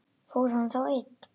Fór hann þá einn?